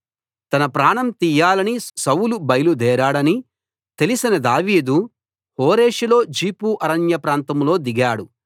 తన ప్రాణం తీయాలని సౌలు బయలుదేరాడని తెలిసిన దావీదు హోరేషులో జీఫు అరణ్య ప్రాంతంలో దిగాడు